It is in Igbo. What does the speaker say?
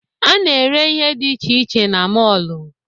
A na-ere ihe dị iche iche na mọọlụ.